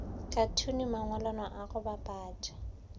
khathune mangwalwana a go bapatša